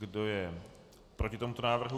Kdo je proti tomuto návrhu?